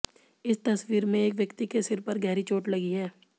इस तस्वीर में एक व्यक्ति के सिर पर गहरी चोट लगी है